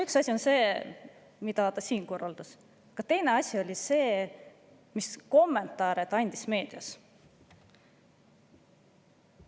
Üks asi oli see, mida ta siin korraldas, aga teine asi oli see, milliseid kommentaare ta meedias andis.